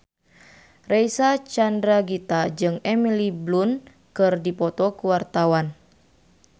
Reysa Chandragitta jeung Emily Blunt keur dipoto ku wartawan